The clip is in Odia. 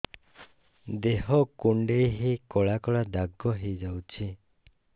ଦେହ କୁଣ୍ଡେଇ ହେଇ କଳା କଳା ଦାଗ ହେଇଯାଉଛି